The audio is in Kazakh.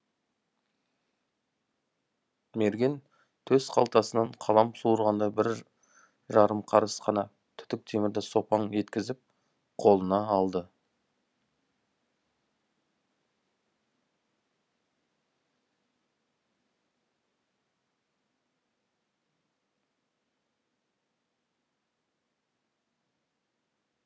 мерген төс қалтасынан қалам суырғандай бір жарым қарыс қана түтік темірді сопаң еткізіп қолына алды